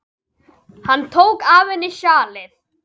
Hann tók af henni sjalið.